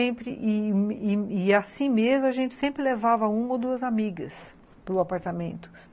E assim e assim mesmo, a gente sempre levava uma ou duas amigas para o apartamento.